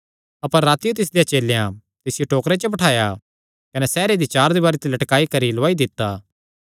अपर रातियो तिसदेयां चेलेयां तिसियो टोकरे च बठाया कने सैहर दी चार दीवारी ते लटकाई करी लौआई दित्ता